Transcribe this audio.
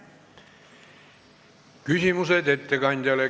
Küsimused ettekandjale.